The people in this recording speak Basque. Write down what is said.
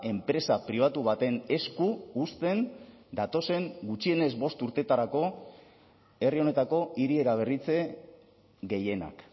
enpresa pribatu baten esku uzten datozen gutxienez bost urteetarako herri honetako hiri eraberritze gehienak